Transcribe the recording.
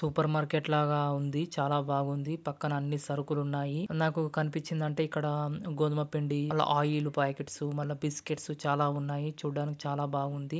Super market లాగా ఉంది. చాలా బాగుంది. పక్కన అన్నీ సర్కులు ఉన్నాయి.నాకు కనిపించింది అంటే ఇక్కడ గోధుమపిండి మళ్ళ ఆయిల్ ప్యాకెట్స్ బిస్కెట్స్ చాలా ఉన్నాయి.